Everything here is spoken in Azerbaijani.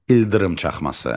İldırım çaxması.